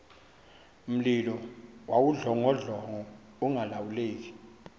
mlilo wawudlongodlongo ungalawuleki